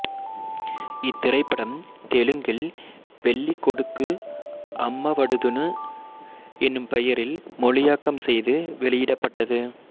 இத்திரைப்படம் தெலுங்கில் பெல்லி கொடுக்கு அம்மவடுதுனு எனும் பெயரில் மொழியாக்கம் செய்து வெளியிடப்பட்டது